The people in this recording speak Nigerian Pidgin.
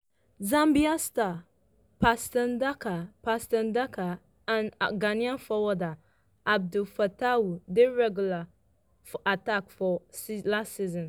zambia star patson daka patson daka and ghana forward abdul fatawu dey regular for attack last season